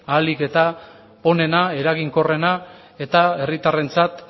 ahalik eta onena eraginkorrena eta herritarrentzat